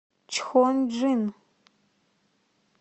чхонджин